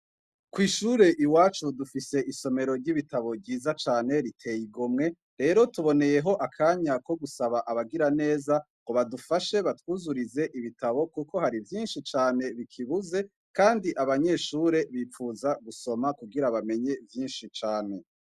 Kw'ishure iwacu dufise isomero ry'ibitabo ryiza cane riteye igomwe, rero tuboneyeho akanya ko gusaba abagiraneza ngo badufashe, batwuzurize ibitabo kuko hari vyinshi cane bikibuze kandi abanyeshure bipfuza gusoma kugira bamenye vyinshi cane.